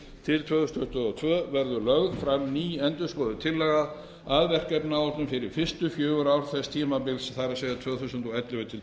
til tvö þúsund tuttugu og tvö verður lögð fram ný endurskoðuð tillaga að verkefnaáætlun fyrir fyrstu fjögur ár þess tímabils það er tvö þúsund og ellefu til